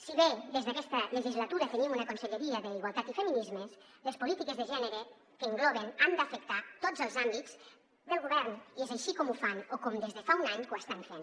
si bé des d’aquesta legislatura tenim una conselleria d’igualtat i feminismes les polítiques de gènere que engloben han d’afectar tots els àmbits del govern i és així com ho fan o com des de fa un any que ho estan fent